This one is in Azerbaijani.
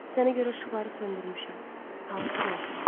Sənə görə işıqları söndürmüşəm, halbuki qorxuram.